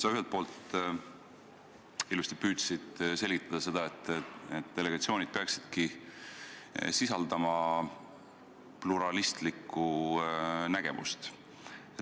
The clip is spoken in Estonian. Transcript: Sa ühelt poolt püüdsid ilusasti selgitada seda, et delegatsioonid peaksidki sisaldama pluralistlikku nägemust.